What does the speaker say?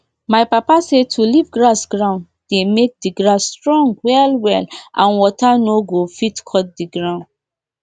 pipo wey dey train animal dey put tag for their animal so mix-up no go dey when dem dey chop together